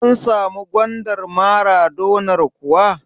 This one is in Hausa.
An samu gwandar maradonar kuwa?